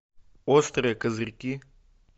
острые козырьки